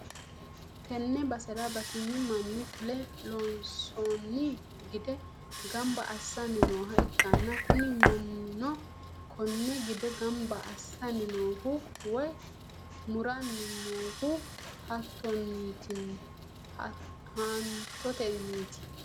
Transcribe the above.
tenne basera batinyu manni fule loonsoonni gide gamba assanni nooha ikkanna, kuni mannino konne gide gamab assanni noohu woy muranni noohu haantotenniti.